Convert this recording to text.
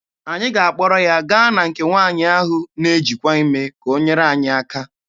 Anyị ga-akpọrọ ya gaa na nke nwaanyị ahụ na-ejikwa ime ka o nyere anyị aka.